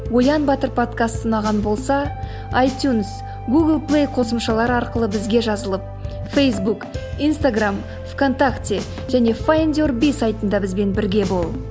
оян батыр подкасты ұнаған болса айтюнс гугл плей қосымшалары арқылы бізге жазылып фейсбук инстаграмм в контакте және файндюрби сайтында бізбен бірге бол